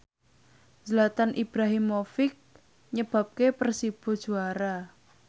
Zlatan Ibrahimovic nyebabke Persibo juara